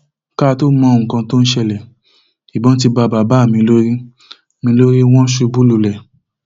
ká tóó mọ nǹkan tó ń ṣẹlẹ ìbọn ti bá bàbá mi lórí mi lórí wọn ṣubú lulẹ